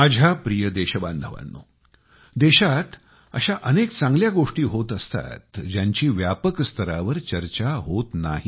माझ्या प्रिय देशबांधवांनो देशात अशा अनेक चांगल्या गोष्टी होत असतात ज्यांची व्यापक स्तरावर चर्चा होत नाही